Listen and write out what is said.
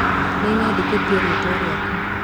Nĩnyandĩkite rĩtwa rĩaku.